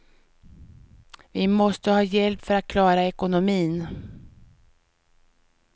Vi måste ha hjälp för att klara ekonomin.